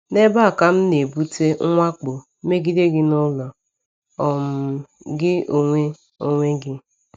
“N’ebe a ka m na-ebute mwakpo megide gị n’ụlọ um gị onwe onwe gị.”